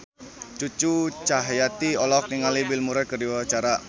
Cucu Cahyati olohok ningali Bill Murray keur diwawancara